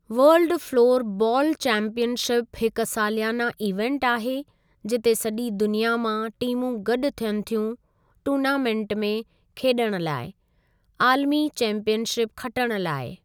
World floorball championship हिकु सालियाना event आहे जिते सॼी दुनिया मां टीमूं गॾु थियनि थियूं टूर्नामेंट में खेॾणु लाइ आलमी चैंपीयन शिप खटणु लाइ।